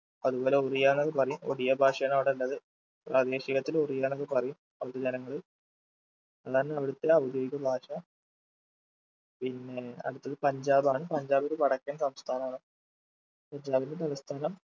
അതുപോലെ ഒറിയാന്നൊക്കെ പറയും ഒഡിയ ഭാഷയാണ് അവിടെയുള്ളത് പ്രാദേശികത്തില് ഒറിയാന്നൊക്കെ പറയും അവിടെത്തെ ജനങ്ങൾ അതാണ് അവിടത്തെ ഔദ്യോഗിക ഭാഷ പിന്നേ അടുത്തത് പഞ്ചാബാണ് പഞ്ചാബ് ഒര് വടക്കൻ സംസ്ഥാനമാണ് പഞ്ചാബിന്റെ തലസ്ഥാനം